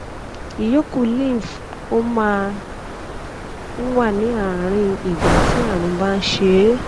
ìyókù lymph ó máa ń wà ní àárín ìgbà tí àrùn bá ń ṣe é